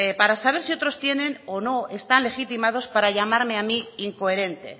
para saber si otros tienen o no están legitimados para llamarme a mí incoherente